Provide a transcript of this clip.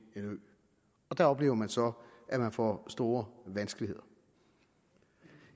der oplever man så at man får store vanskeligheder